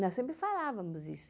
Nós sempre falávamos isso.